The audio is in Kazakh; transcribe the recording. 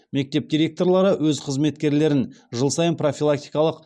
мектеп директорлары өз қызметкерлерін жыл сайын профилактикалық